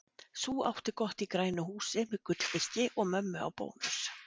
Sú átti gott í grænu húsi, með gullfiski og mömmu á bónus.